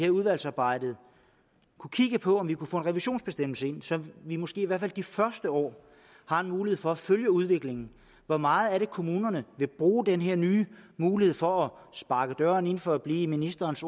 i udvalgsarbejdet kunne kigge på om vi kunne få en revisionsbestemmelse ind så vi måske i hvert fald de første år har en mulighed for at følge udviklingen hvor meget vil kommunerne bruge den her nye mulighed for at sparke døren ind for at blive i ministerens